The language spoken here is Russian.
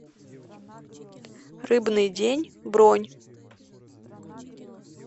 рыбный день бронь